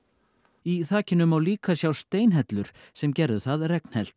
í þakinu má líka sjá steinhellur sem gerðu það